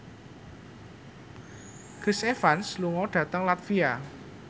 Chris Evans lunga dhateng latvia